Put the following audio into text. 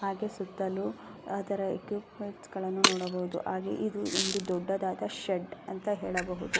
ಹಾಗೆ ಸುತ್ತಲೂ ಅದರ ಎಕ್ಸ್ನ್ಪ್ಮೆಂಟ್ಸ್ ಗಳನ್ನೂ ನೋಡಬಹುದು ಹಾಗೆ ಇದು ದೊಡ್ಡದಾದ ಶೆಡ್ ಅಂತ ಹೇಳಬಹುದು --